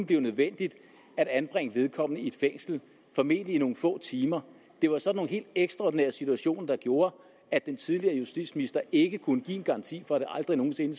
blive nødvendigt at anbringe vedkommende i fængsel formentlig i nogle få timer det var sådan nogle helt ekstraordinære situationer der gjorde at den tidligere justitsminister ikke kunne give en garanti for at det aldrig nogen sinde